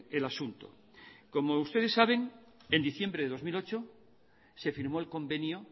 el asunto como ustedes saben en diciembre de dos mil ocho se firmó el convenio